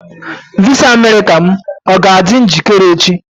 Visa Amerịka m ga-adị njikere echi?